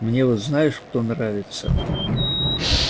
мне вот знаешь кто нравится